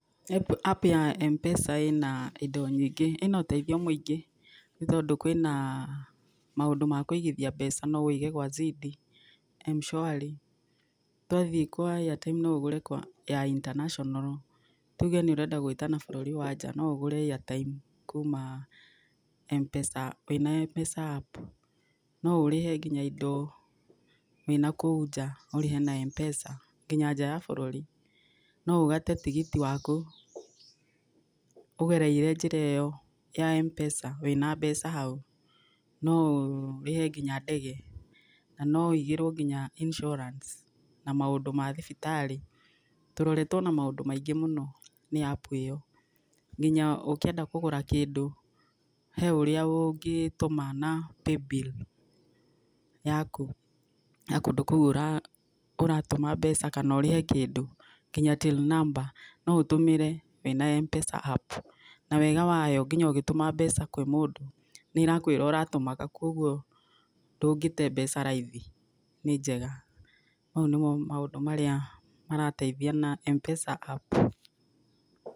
App ya Mpesa ĩna indo nyingĩ, ĩna ũteithio mũingĩ. Ni tondũ kwĩna maũndũ ma kũigithia mbeca. No ũige gwa Zidi, M-shwari. Twathiĩ kwa airtime no ũgũre ya international. Tuge nĩ ũrenda gwĩtana bũrũri wa nja, no ũgũre airtime kuma Mpesa, wĩna Mpesa app. No ũrĩhe nginya indo wĩna kũu nja, ũrĩhe na Mpesa, nginya nja ya bũrũri. No ũgate tigiti waku ũgereire njĩra ĩyo ya Mpesa wĩna mbeca hau. No ũrĩhe nginya ndege. Na no ũigĩrwo nginya insurance, na maũndũ ma thibitarĩ. Tũroretwo na maũndũ maingĩ mũno ni app ĩyo, nginya ũkĩenda kũgũra kĩndũ he ũrĩa ũngĩtũma na Paybill yaku, ya kũndũ kũu ũratũma mbeca kana ũrĩhe kĩndũ, nginya till number no ũtũmire wĩna Mpesa app. Na wega wayo nginya ugĩtũma mbeca kwĩ mũndũ nĩ ĩrakwĩra ũratũma kũ, kogwo ndũngĩte mbeca raithi. Nĩ njega. Mau nĩmo maũndũ marĩa marateithia na Mpesa app.